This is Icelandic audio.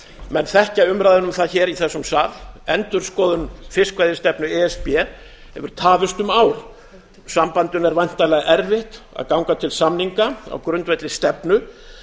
menn þekkja umræðuna um það hér í þessum sal endurskoðun fiskveiðistefnu e s b hefur tafist um ár og sambandinu er væntanlega erfitt að ganga til samninga á grundvelli stefnu